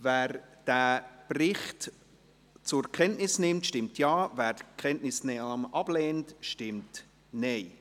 Wer diesen Bericht zur Kenntnis nimmt, stimmt Ja, wer die Kenntnisnahme ablehnt, stimmt Nein.